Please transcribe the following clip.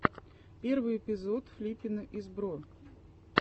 первый эпизод флиппина из бро